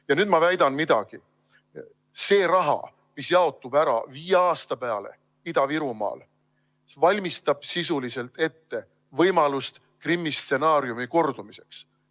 Ja nüüd ma väidan midagi: see raha, mis jaotub ära viie aasta peale Ida-Virumaal, valmistab sisuliselt ette võimalust Krimmi stsenaariumi kordumiseks.